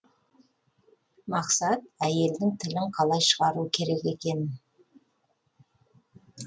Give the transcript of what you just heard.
мақсат әйелдің тілін қалай шығару керек екенін